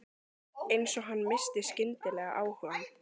Eins og hann missti skyndilega áhugann.